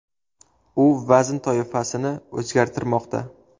U vazn toifasini o‘zgartirmoqda.